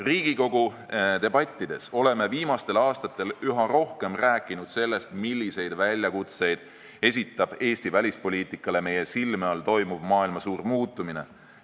Riigikogu debattides oleme viimastel aastatel üha rohkem rääkinud sellest, milliseid väljakutseid esitab Eesti välispoliitikale meie silme all toimuv maailma suur muutumine.